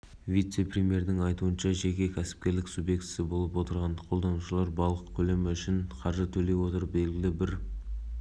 аталған мәселе ел азаматтарының басым бөлігіне қатысты яғни су айдындары маңынды тіршілік кешіп жатқан және негізгі азығы балық болып отырған азаматтар